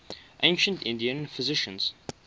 ancient indian physicians